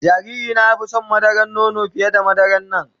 Jariri na ya fi son madaran nono fiye da madaran nan.